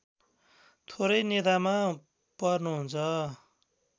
थोरै नेतामा पर्नुहुन्छ